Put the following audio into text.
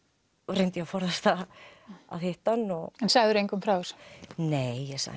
reyndi ég að forðast það að hitta hann og sagðir engum frá þessu nei ég sagði